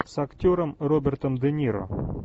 с актером робертом де ниро